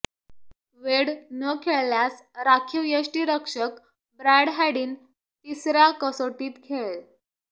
वेड न खेळल्यास राखीव यष्टिरक्षक ब्रॅड हॅडिन तिसऱ्या कसोटीत खेळेल